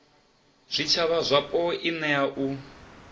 zwitshavha zwapo i nea u